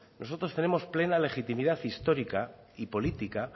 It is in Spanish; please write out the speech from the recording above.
nosotros tenemos plena legitimidad histórica y política